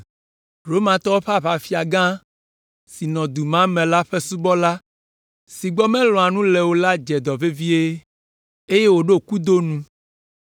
Romatɔwo ƒe aʋafia gã si nɔ du ma me la ƒe dɔla si gbɔ melɔ̃a nu le o la dze dɔ vevie, eye wòɖo kudo nu.